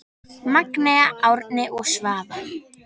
Magnea, Árni og Svava.